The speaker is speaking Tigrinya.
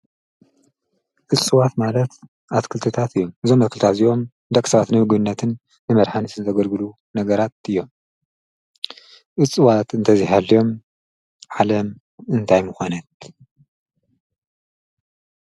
እፅዋት ማለት ኣትክልትታት እዮም እዞም ኣትክልታት እዚዮም ደቂ ሰባት ነውግነትን ንመድሓኒት ንተገድግሉ ነገራት እዮም እፅዋት እንተዚሃልዮም ዓለም እንታይ ምኾነት?